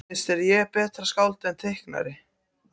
Finnst þér ég betra skáld en teiknari?